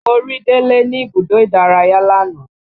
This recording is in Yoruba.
Mo rí délé ní ibùdó ìdárayá lánàá